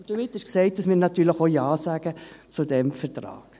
Damit ist gesagt, dass wir natürlich Ja sagen zu diesem Vertrag.